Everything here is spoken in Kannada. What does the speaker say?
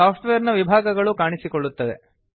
ಸಾಫ್ಟ್ವೇರ್ ನ ವಿಭಾಗಗಳು ಕಾಣಿಸಿಕೊಳ್ಳುತ್ತದೆ